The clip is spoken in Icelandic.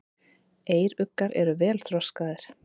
Eyruggar eru vel þroskaðir.